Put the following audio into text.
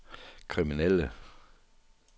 kriminelle